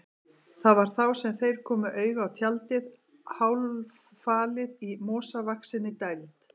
Það var þá sem þeir komu auga á tjaldið, hálffalið í mosavaxinni dæld.